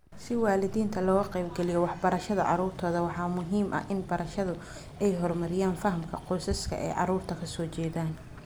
Si waalidiinta looga qayb geliyo waxbarashada caruurtooda waxaa muhiim ah in barayaashu ay horumariyaan fahamka qoysaska ay caruurtu ka soo jeedaan.